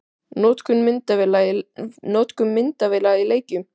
Notkun myndavéla í leikjum?